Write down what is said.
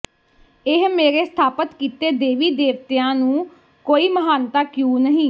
ਇਹ ਮੇਰੇ ਸਥਾਪਤ ਕੀਤੇ ਦੇਵੀ ਦੇਵਤਿਆਂ ਨੂੰ ਕੋਈ ਮਹਾਨਤਾ ਕਿਉ ਨਹੀ